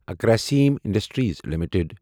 Grasim Industries limited